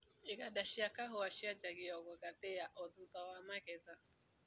Iganda cia kahũa cianjagia gũgathĩa o thutha wa magetha.